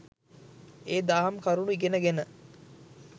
ඒ දහම් කරුණු ඉගෙන ගෙන